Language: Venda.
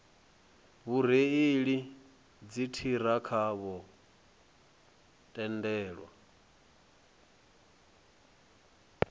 vhareili vha dziṱhirakha vho tendelwa